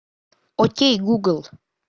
окей гугл